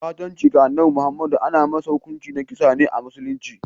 Ɓatanci ga Annabi Muhammadu ana masa hukunci da kisa a musulunci.